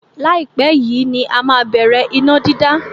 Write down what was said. Láìpẹ́ yìí ní a má á bẹ̀rẹ̀ iná dídá.